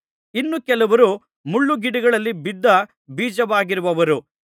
ಇನ್ನು ಕೆಲವರು ಮುಳ್ಳುಗಿಡಗಳಲ್ಲಿ ಬಿದ್ದ ಬೀಜವಾಗಿರುವವರು